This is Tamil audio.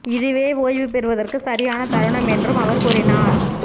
இதுவே ஓய்வு பெறுவதற்கு சரியான தருணம் என்றும் அவர் கூறினார்